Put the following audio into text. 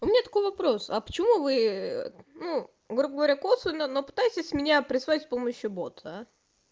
у меня такой вопрос а почему вы ну грубо говоря косвенно ну пытаетесь меня прессовать с помощью бота а